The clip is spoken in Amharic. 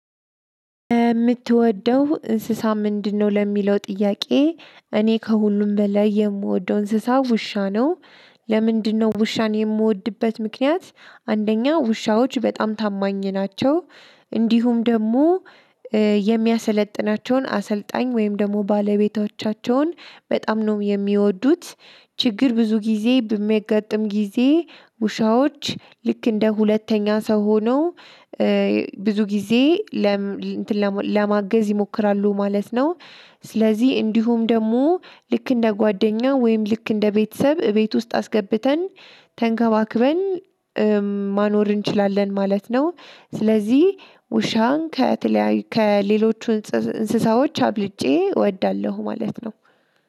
የምትወደው እንስሳ ምንድነው? ለሚለው ጥያቄ እኔ ከሁሉም በላይ የምወደው እንስሳ ውሻ ነው። ለምንድነው ውሻን የምወድበት ምክንያት አንደኛ ውሻዎች በጣም ታማኝ ናቸው። እንዲሁም ደግሞ የሚያሰለጥናቸውን አሰልጣኝ ወይም ደግሞ ባለቤቶቻቸውን በጣም ነው የሚወዱት። ችግር ብዙ ጊዜ በሚያጋጥም ጊዜ ውሻዎች ልክ እንደ ሁለተኛ ሰው ሆኖ ብዙ ጊዜ ለማገዝ ይሞክራሉ ማለት ነው። ስለዚህ እንዲሁም ደግሞ ልክ እንደ ጓደኛ ወይም ልክ እንደ ቤተሰብ ቤት ውስጥ አስገብተን ተንከባክበን ማኖር እንችላለን ማለት ነው። ስለዚህ ውሻን ከተለያየ ከሌሎቹ እንስሳዎች አብልጬ እወዳለሁ ማለት ነው።